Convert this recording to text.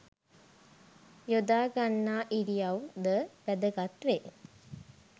යොදාගන්නා ඉරියව් ද වැදගත් වේ.